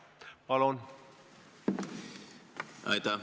Palun!